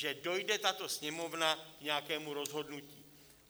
Že dojde tato Sněmovna k nějakému rozhodnutí?